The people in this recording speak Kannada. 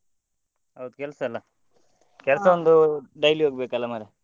ಹೌದು ಕೆಲ್ಸ ಅಲ್ಲ ಕೆಲ್ಸ daily ಹೋಗ್ಬೇಕ್ ಅಲ್ಲ ಮರ್ರೆ.